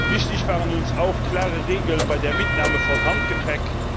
Wichtig waren uns auch klare Regeln bei der Mitnahme von Handgepäck.